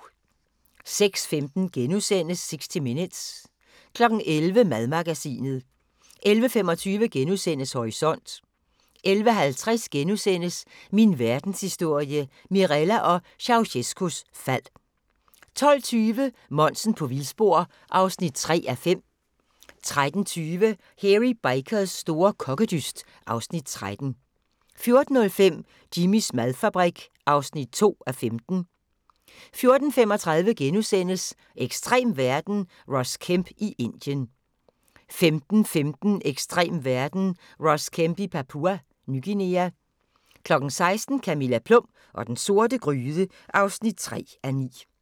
06:15: 60 Minutes * 11:00: Madmagasinet 11:25: Horisont * 11:50: Min Verdenshistorie – Mirella og Ceaucescaus fald (3:10)* 12:20: Monsen på vildspor (3:5) 13:20: Hairy Bikers store kokkedyst (Afs. 13) 14:05: Jimmys madfabrik (2:15) 14:35: Ekstrem verden – Ross Kemp i Indien * 15:15: Ekstrem verden – Ross Kemp i Papua Ny Guinea 16:00: Camilla Plum og den sorte gryde (3:9)